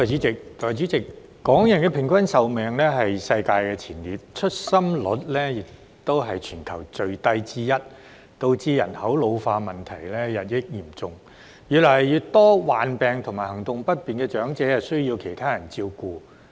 代理主席，港人的平均壽命是世界前列，出生率亦是全球最低之一，導致人口老化問題日益嚴重，越來越多患病和行動不便的長者需要其他人照顧。